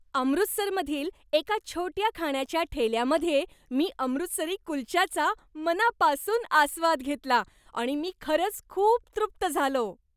अमृतसरमधील एका छोट्या खाण्याच्या ठेल्यामध्ये मी अमृतसरी कुलच्याचा मनापासून आस्वाद घेतला. आणि मी खरंच खूप तृप्त झालो.